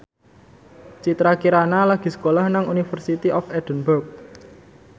Citra Kirana lagi sekolah nang University of Edinburgh